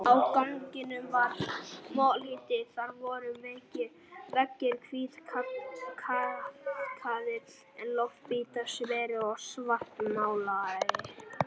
Á ganginum var molluhiti, þar voru veggir hvítkalkaðir en loftbitar sverir og svartmálaðir.